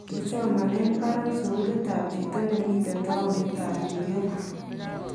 Kisomanen Baron sukuulit ab chitoo nemiten towunitab New York.